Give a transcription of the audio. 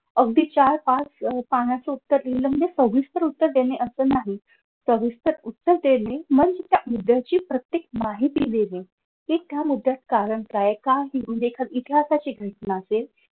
अगदी चार पाच पानाचं उत्तर लिहिलं म्हणजे सविस्तर उत्तर देणे असं नाही सविस्तर उत्तर देणे म्हणजे त्या मुद्यांची प्रत्येक माहिती देणे कि त्या मुद्यात कारण काय आहे का म्हणजे एखादी इतिहासाची घटना असेल.